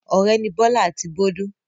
Ọ̀rẹ́ ni Bọ́lá àti Bólú.